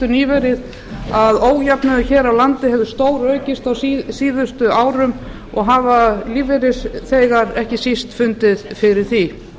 nýverið að ójöfnuður hér á landi hefur stóraukist á síðustu árum og hafa lífeyrisþegar ekki síst fundið fyrir því